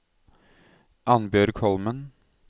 Annbjørg Holmen